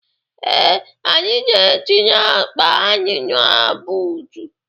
Ee, anyị na-etinye akpa anyị na buutu.